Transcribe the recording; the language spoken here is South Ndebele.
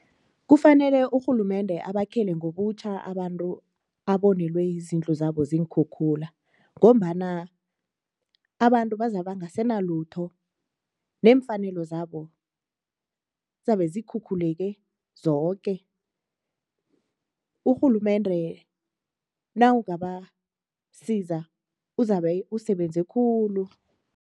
Kufanele urhulumende abakhele ngobutjha abantu abonelwe izindlu zabo ziinkhukhula ngombana abantu bazabe bangasenalutho neemfanelo zabo zizabe zikhukhuleke zoke, urhulumende nawungabasiza uzabe usebenze khulu.